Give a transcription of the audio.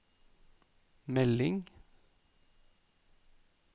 melding